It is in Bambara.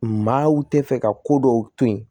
Maaw tɛ fɛ ka ko dɔw to yen